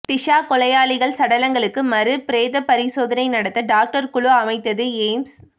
டிஷா கொலையாளிகள் சடலங்களுக்கு மறு பிரேத பரிசோதனை நடத்த டாக்டர் குழு அமைத்தது எய்ம்ஸ்